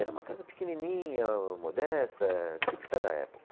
Era uma casa pequenininha, modesta, típica da época.